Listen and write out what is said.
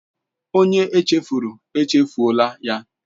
Onye echefuru, echefuọla ya.